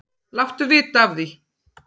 Láttu vita af því.